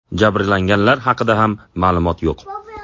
Jabrlanganlar haqida ham ma’lumot yo‘q.